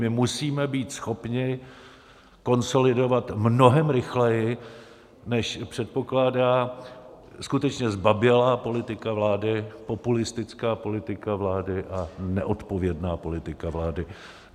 My musíme být schopni konsolidovat mnohem rychleji, než předpokládá skutečně zbabělá politika vlády, populistická politika vlády a neodpovědná politika vlády.